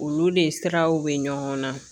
Olu de siraw bɛ ɲɔgɔn na